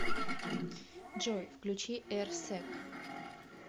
джой включи эрсэк